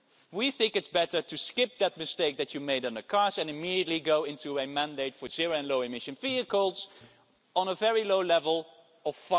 We think it's better to skip that mistake that you made on cars and immediately go into a mandate for zero and low emission vehicles at a very low level of